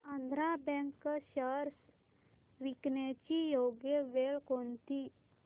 Andhra Bank shares विकण्याची योग्य वेळ कोणती